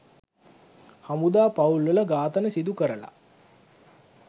හමුදා පවුල්වල ඝාතන සිදු කරලා